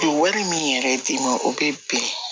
Wari min yɛrɛ d'i ma o bɛ bɛn